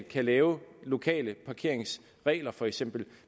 kan lave lokale parkeringsregler for eksempel